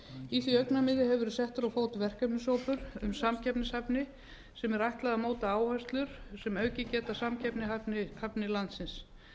í því augnamiði hefur verið settur á fót verkefnahópur um samkeppnishæfni sem er ætlað að móta áherslur sem aukið geta samkeppnishæfni landsins